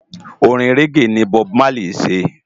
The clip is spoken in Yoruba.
Órin régé ni Bòb Málí sé